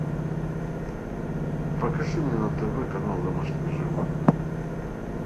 покажи мне на тв канал домашние животные